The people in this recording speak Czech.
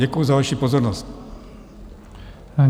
Děkuji za vaši pozornost.